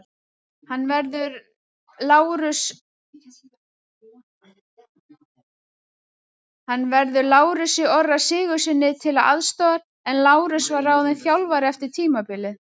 Hann verður Lárusi Orra Sigurðssyni til aðstoðar en Lárus var ráðinn þjálfari eftir tímabilið.